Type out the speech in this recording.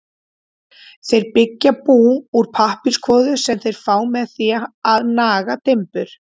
Þeir byggja bú úr pappírskvoðu sem þeir fá með því að naga timbur.